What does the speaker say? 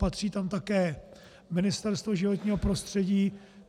Patří tam také Ministerstvo životního prostředí.